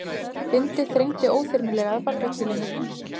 Bindið þrengdi óþyrmilega að barkakýlinu.